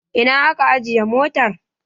Ina aka ajiye motar?